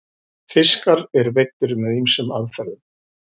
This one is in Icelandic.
fiskar eru veiddir með ýmsum aðferðum